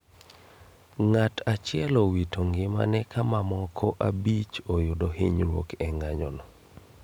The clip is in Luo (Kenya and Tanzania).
Ng'atachiel owito ngimane ka mamoko abich oyudo hinyruok e ng'anyo no